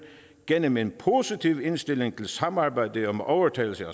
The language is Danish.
gennem en positiv indstilling til samarbejdet om overtagelse